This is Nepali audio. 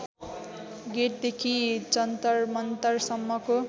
गेटदेखि जन्तरमन्तरसम्मको